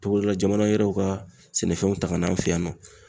Togoda la jamana wɛrɛw ka sɛnɛfɛnw ta ka n'an fɛ yan nɔ.